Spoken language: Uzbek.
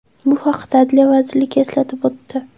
Bu haqda Adliya vazirligi eslatib o‘tdi .